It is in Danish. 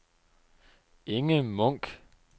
Inge Munch